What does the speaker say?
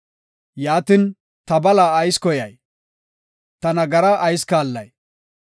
Yaatin, ta bala ayis koyay? Ta nagaraa ayis kaallay?